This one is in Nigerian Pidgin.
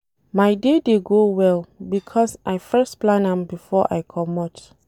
My day dey go well because I first plan am before I comot.